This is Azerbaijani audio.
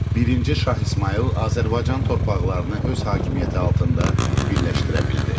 Birinci Şah İsmayıl Azərbaycan torpaqlarını öz hakimiyyəti altında birləşdirə bildi.